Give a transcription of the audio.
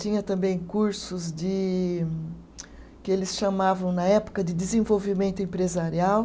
Tinha também cursos de que eles chamavam na época de desenvolvimento empresarial.